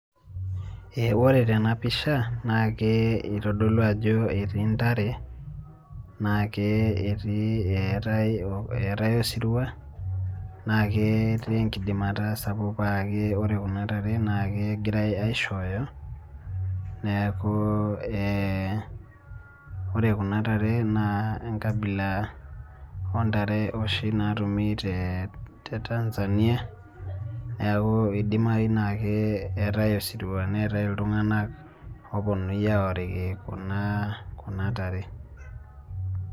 Ore tena pisha, naa kitodolu ajo etii ndare, naake etii etae osirua naaketii ekidimata sapuk paaa-ke ore kuna ntare naa kegirae aishoyo, neeku ee ore kuna ntare naa enkabila ooh ntare oshi naatumi tee te Tanzania, neeku kidimayu ake etae osirua neetae iltungana oopuonunui aorikini kuna tare.